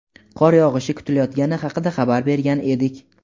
qor yog‘ishi kutilayotgani haqida xabar bergan edik.